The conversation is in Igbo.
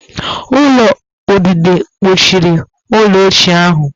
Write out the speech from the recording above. Ulo udide kpuchiri ụlọ ochie ahụ